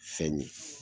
Fɛn ɲin